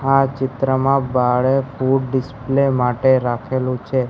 આ ચિત્રમાં બારે ફૂડ ડિસ્પ્લે માટે રાખેલુ છે.